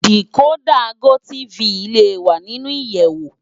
Dikódà gótìfí lé wá ninú iyèwó